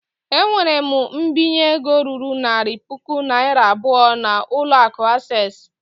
Ewere m mbinye ego ruru narị puku naira abụọ n'ụlọ akụ access.